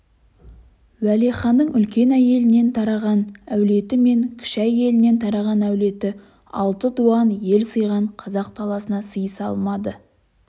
уәлиханның үлкен әйелінен тараған әулеті мен кіші әйелінен тараған әулеті алты дуан ел сыйған қазақ даласына сыйыса алмады